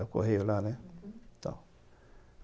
É o Correio lá, né? Uhum.